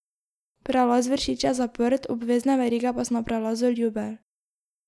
Prelaz Vršič je zaprt, obvezne verige pa so na prelazu Ljubelj.